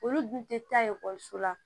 Olu dun tɛ taa ekɔliso la